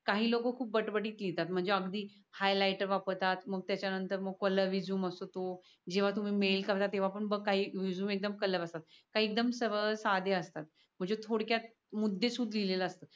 काही लोक खूप बट बतीत लिहितात. म्हणजे अगदी हायलायटर वापरतात मग त्याच्या नंतर मग कलर रेझूमे असतो. जेवा तुम्ही मेल करता तेवा बग रेझूमे एकदम कलर असतात. काही एकदम सरळ साधे असतात. म्हणजे थोडक्यात मुद्दे सुत लिहिलेल असत.